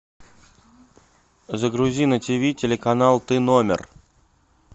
загрузи на ти ви телеканал ты номер